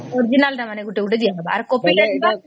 original ତ ମାନେ ଗୋଟେ ଗୋଟେ ଦିଆ ହବ ଆର copy